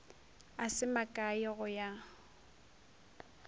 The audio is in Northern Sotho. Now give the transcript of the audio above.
a se makae go ya